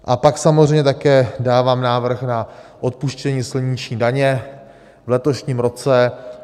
A pak samozřejmě také dávám návrh na odpuštění silniční daně v letošním roce.